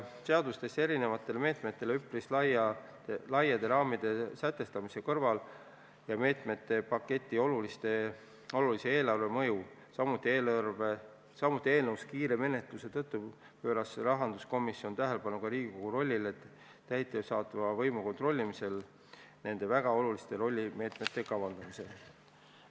Seadustes üpris laiade raamide sätestamise ja meetmepaketi olulise eelarvemõju tõttu, samuti eelnõu kiire menetluse tõttu pööras rahanduskomisjon tähelepanu ka Riigikogu rollile täidesaatva võimu kontrollimisel nende väga oluliste meetmete kavandamisel.